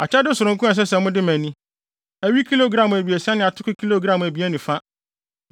“ ‘Akyɛde sononko a ɛsɛ wode ma ni: Awi kilogram abiɛsa ne atoko kilogram abien ne fa.